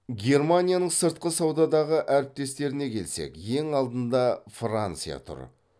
германияның сыртқы саудадағы әріптестеріне келсек ең алдында франция тұр